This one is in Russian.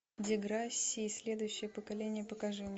деграсси следующее поколение покажи мне